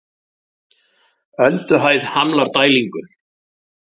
Ölduhæð hamlar dælingu